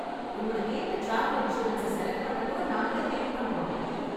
உங்களுக்கு ஏத்த travel insurance select பண்ண கூட நாங்களே ஹெல்ப் பண்றோம்.